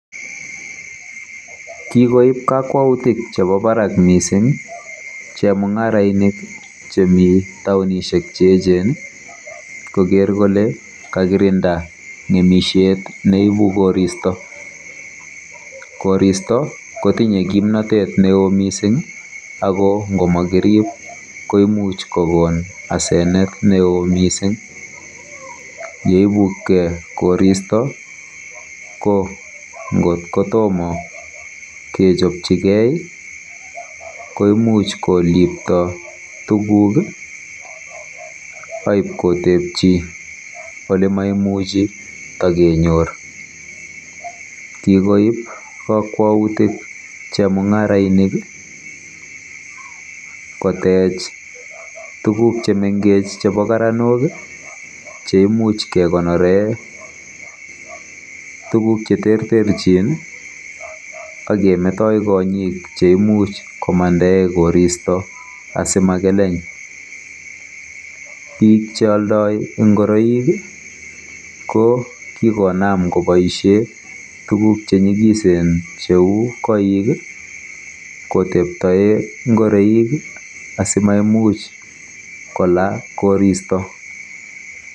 Kikoib kakwautik chebo barak mising chemung'arainik chemi taonishek cheechen koker kole kakirinda ng'emishet neibu koristo. Koristo kotinye kimnatet neo mising ako ngomakirib koimuch kokon asenet neo mising. Yeibukkei koristo ko ngot kotomo kechebchigei koimuch kolipto tuguk aipkotebchi olemaimuchi kotakenyor. Kikoib kakwautik chemung'arainik kotech tuguk chemengech chebo karanok cheimuch kekonore tuguk cheterterchin akemetoi kong'ik cheimuch komandae koristo asimakeleny. Bik cheoldoi ngoroik ko kikonam koboisie tuguk chenyikisen cheu koik kotebtoe ngoroik asimaimuch kola koristo.